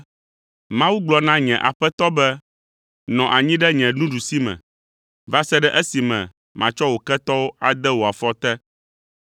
“ ‘Mawu gblɔ na nye Aƒetɔ be: “Nɔ anyi ɖe nye nuɖusime va se ɖe esime matsɔ wò ketɔwo ade wò afɔ te.” ’